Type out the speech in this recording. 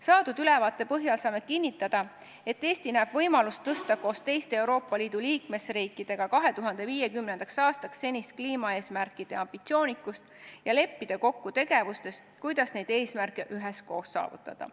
Saadud ülevaate põhjal saame kinnitada, et Eesti näeb võimalust suurendada koos teiste Euroopa Liidu liikmesriikidega 2050. aastaks senist kliimaeesmärkide ambitsioonikust ja leppida kokku tegevustes, kuidas neid eesmärke üheskoos saavutada.